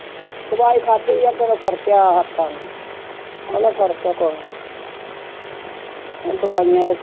ਦਵਾਈ ਖਾਧੀ ਆ ਅੱਗੋਂ ਨਾਲੋਂ ਫ਼ਰਕ ਆ ਹੱਥਾਂ ਨੂੰ, ਉਹਦੇ ਨਾਲ ਫ਼ਰਕ ਹੈ ਕੁਛ ਦਵਾਈਆਂ ਦੇ